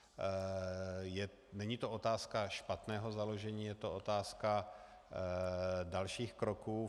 Není to otázka špatného založení, je to otázka dalších kroků.